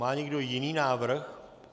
Má někdo jiný návrh?